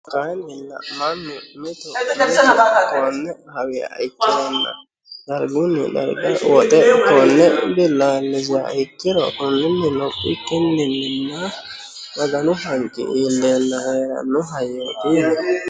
Kayinnilla mannu mitu mitu konne hawiha ikkirona darigunni dariga woxe konne bilaalisiha ikkiro konninni lophikinninna maganu haniqqi iilleena heranno